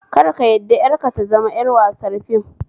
Kar ka yarda 'yarka ta zama 'yar wasar fim